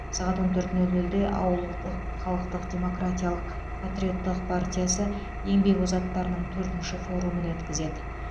сағат он төрт нөл нөлде ауылдық халықтық демократиялық патриоттық партиясы еңбек озаттарының төртінші форумын өткізеді